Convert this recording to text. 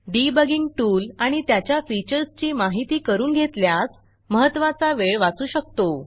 debugging tool आणि त्याच्या फीचर्सची माहिती करून घेतल्यास महत्त्वाचा वेळ वाचू शकतो